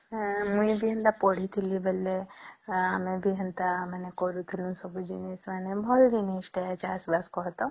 ମୁଇ ଦିନ ତା ପଢ଼ିଥିଲି ବେଳେ ଆମେ ବି ହେନ୍ତା କରୁଥିଲୁ ସବୁ ଜିନିଷ ଭଲ ଜିନିଷ ଟେ ଚାଷ ବାସ କହିତ